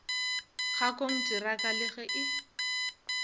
ga konteraka le ge e